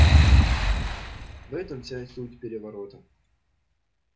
в этом вся и суть переворота